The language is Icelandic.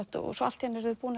og allt í einu eru þau búin